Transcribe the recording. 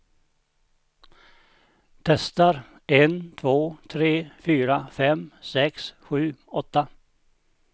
Testar en två tre fyra fem sex sju åtta.